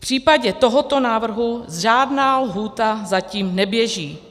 V případě tohoto návrhu žádná lhůta zatím neběží.